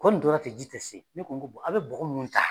Ko n tora ten, ji tɛ se, ne ko aw bɛ bɔgɔ ninnu ta.